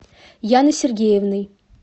яной сергеевной